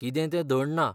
कितें ते धड ना.